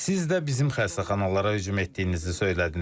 Siz də bizim xəstəxanalara hücum etdiyinizi söylədiniz.